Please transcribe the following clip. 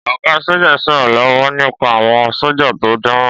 Ọ̀gá sọ́jà ń sọ̀rọ̀ lọ́wọ́ nípa àwọn sọ́jà tó dáràn.